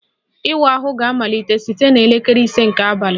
Ịwa ahụ ga-amalite site na elekere ise nke abalị